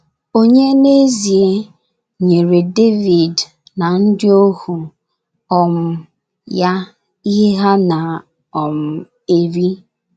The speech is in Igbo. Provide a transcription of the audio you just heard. Ònye n’ezie, nyere Devid na ndị ohu um ya ihe ha na - um eri?